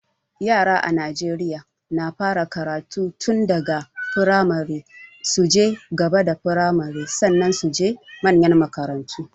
Yaran a Naijeriya na fara karatu tunbda ka firamare, su je gaba da firmare, sannan su je manyan makarantu.